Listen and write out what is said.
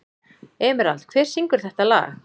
Emerald, hver syngur þetta lag?